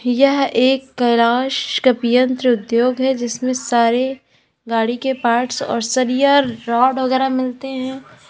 यह एक कैलाश कपी यंत्र उद्योग है जिसमें सारे गाड़ी के पार्ट्स और सरिया रॉड वगैरा मिलते हैं।